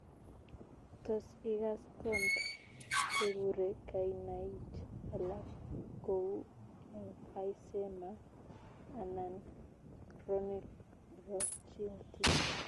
Tos ikass copd kekuree kainaich alaak kouu emphysema anan chronic bronchitis